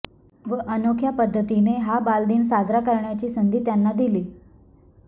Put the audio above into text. व अनोख्या पध्दतीने हा बालदिन साजरा करण्याची संधी त्यांना दिली